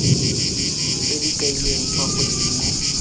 tse di kailweng fa godimo